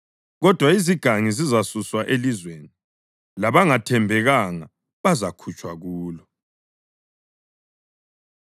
kodwa izigangi zizasuswa elizweni, labangathembekanga bazakhutshwa kulo.